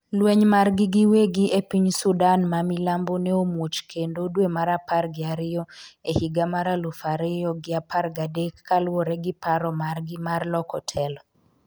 lweny margi giwegi e piny Sudan mamilambo ne omuoch kendo dwe mar apar gi ariyo e higa mar aluf ariyo gi apar gadek kaluwore gi paro margi mar loko telo